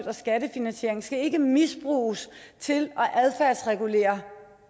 og skattefinansieret skal ikke misbruges til at adfærdsregulere